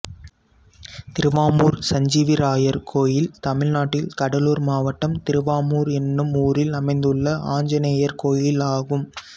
திருவாமூர் சஞ்சீவிராயர் கோயில் தமிழ்நாட்டில் கடலூர் மாவட்டம் திருவாமூர் என்னும் ஊரில் அமைந்துள்ள ஆஞ்சநேயர் கோயிலாகும்